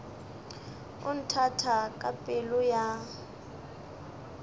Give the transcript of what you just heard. o nthata ka pelo ya